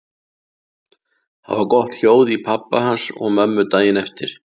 Það var gott hljóð í pabba hans og mömmu daginn eftir.